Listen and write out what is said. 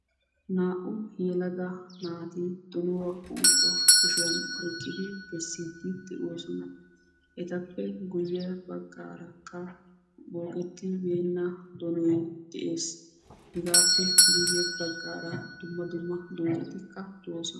Naa"u yelaga naati donuwa unkkuwa kushiyan oyqqidi bessiidi de'oosona etappe guye baggaarakka bookketibeenna donoy dees, hegaappe guye baggaara dumma dumma doozzatikka doosona.